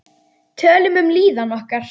Tölum um líðan okkar.